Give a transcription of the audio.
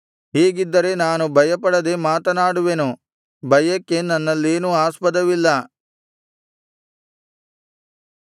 ಹೀಗಿದ್ದರೆ ನಾನು ಭಯಪಡದೆ ಮಾತನಾಡುವೆನು ಭಯಕ್ಕೆ ನನ್ನಲ್ಲೇನೂ ಆಸ್ಪದವಿಲ್ಲ